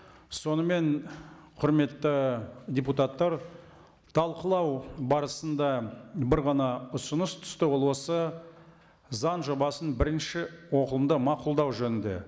сонымен құрметті депутаттар талқылау барысында бір ғана ұсыныс түсті ол осы заң жобасын бірінші оқылымда мақұлдау жөнінде